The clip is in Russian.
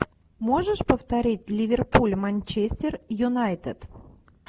можешь повторить ливерпуль манчестер юнайтед